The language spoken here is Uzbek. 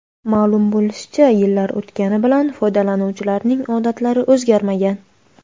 Ma’lum bo‘lishicha, yillar o‘tgani bilan foydalanuvchilarning odatlari o‘zgarmagan.